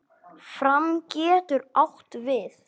Fram getur átt við